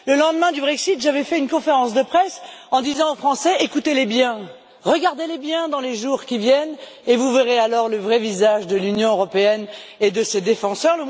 Le lendemain du Brexit, j'avais fait une conférence de presse en disant aux Français Écoutez les bien, regardez les bien dans les jours qui viennent, et vous verrez alors le vrai visage de l'Union européenne et de ses défenseurs.